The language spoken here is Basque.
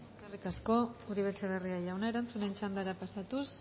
eskerrik asko uribe etxebarria jauna erantzunen txandara pasatuz